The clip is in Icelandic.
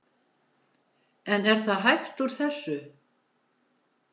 En er það hægt úr þessu?